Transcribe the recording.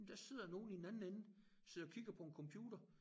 Men der sidder nogen i den anden ende sidder og kigger på en computer